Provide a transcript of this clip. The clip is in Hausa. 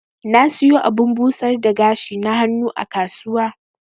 Na siyo abun busar da gashi na hannu a kasuwa.